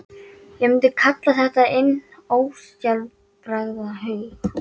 Ég myndi kalla þetta hinn ósjálfráða huga.